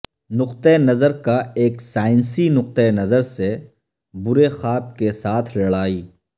نقطہ نظر کا ایک سائنسی نقطہ نظر سے برے خواب کے ساتھ لڑائی